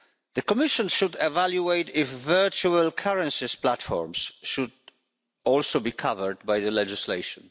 The Commission should evaluate if virtual currency platforms should also be covered by the legislation.